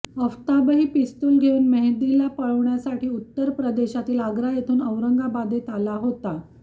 अफताबही pistol घेऊन मेहदीला पळविण्यासाठी उत्तर प्रदेशातील आग्रा येथून औरंगाबादेत आला होता